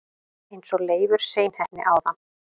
eins og Leifur seinheppni áðan!